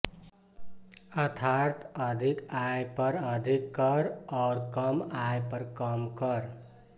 अर्थात् अधिक आय पर अधिक कर और कम आय पर कम कर